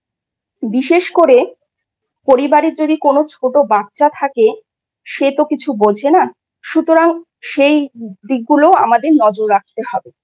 বিশেষ করে পরিবারের যদি কোনও ছোট বাচ্চা থাকে সে তো কিছু বোঝে না। সুতরাং সেই দিকগুলো আমাদের নজর রাখতে হবে।